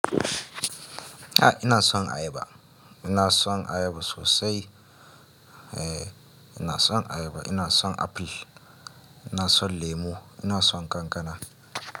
A'a ina son ayaba, ina son ayaba sosai. Eh ina son ayaba, ina son aful, ina son lemo, ina son kankana.